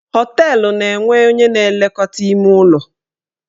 Họteelụ na-enwe onye na elekọta ime ụlọ.